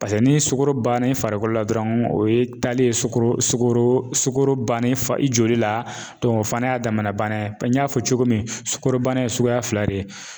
Paseke ni sukoro bannen farikolo la dɔrɔn o ye talen ye sukɔro sukɔro sukoro bannen fari i joli la o fana y'a damana bana ye, n y'a fɔ cogo min sukɔrobana ye suguya fila de ye